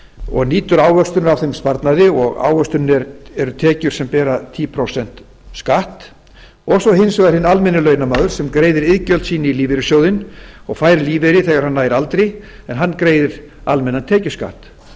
og nýtur ávöxtunar af þeim sparnaði og ávöxtunin eru tekjur sem bera tíu prósent skatt svo er hins vegar hinn almenni launamaður sem greiðir iðgjöld sín í lífeyrissjóðinn og fær lífeyri þegar hann nær aldri en hann greiðir almennan tekjuskatt